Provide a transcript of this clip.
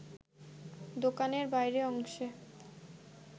দোকানের বাইরের অংশে